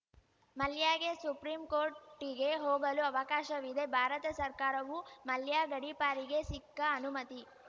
ಮಲ್ಯಗೆ supreme ಕೋರ್ಟಿಗೆ ಹೋಗಲೂ ಅವಕಾಶವಿದೆ ಭಾರತ ಸರ್ಕಾರವು ಮಲ್ಯ ಗಡೀಪಾರಿಗೆ ಸಿಕ್ಕ ಅನುಮತಿ